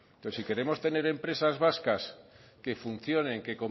pues si queremos tener empresas vascas que funcionen que